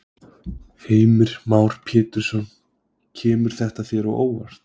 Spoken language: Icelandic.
Heimir Már Pétursson: Kemur þetta þér á óvart?